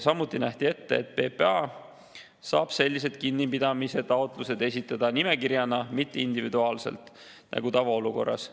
Samuti nähti ette, et PPA saab sellised kinnipidamise taotlused esitada nimekirjana, mitte individuaalselt nagu tavaolukorras.